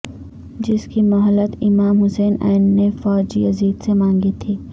جس کی مہلت امام حسین ع نے فوج یزید سے مانگی تھی